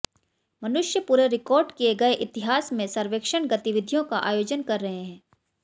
मनुष्य पूरे रिकॉर्ड किए गए इतिहास में सर्वेक्षण गतिविधियों का आयोजन कर रहे हैं